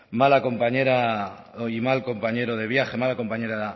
mala compañera y mal compañero de viaje mala compañera